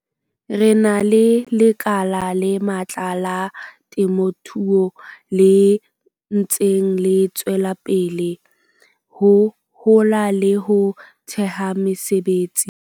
Re na le lekala le matla la temothuo le ntseng le tswela pele ho hola le ho theha mesebetsi.